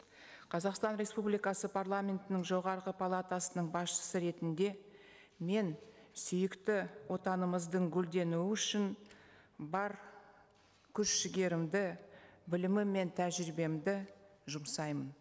қазақстан республикасы парламентінің жоғарғы палатысының басшысы ретінде мен сүйікті отанымыздың гүлденуі үшін бар күш жігерімді білімім мен тәжірибемді жұмсаймын